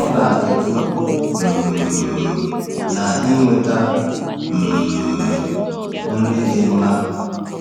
Ọ na-ekwu um na inweta um nri dị mma